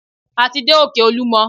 A ti dé òkè olúmọ.